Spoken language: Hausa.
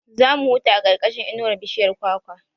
Za mu huta a ƙarƙashin inuwar bishiyar kwakwa